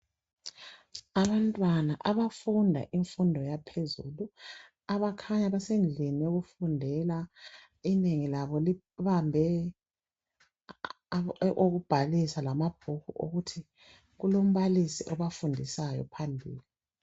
Abantwana abafunda imfundo yaphezulu, abakhanya besendlini yokufundela inengi labo libambe okokubhalisa lamabhuku okuthi kulombalisi obafundisayo phambili.